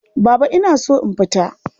Baba ina so in fita.